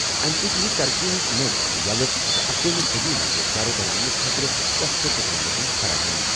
اَمہِ سۭتۍ یِیہِ ترقی ہٕنٛزٕ نٔوۍ وَتہٕ یَلہٕ تہٕ اکوہِمہِ صٔدی منٛز گَرٕ بناونہٕ خٲطرٕ سستہٕ ٹیکنالوجی فراہم۔